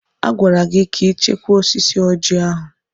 A gwara gị ka ị chekwaa osisi Ọjị ahụ!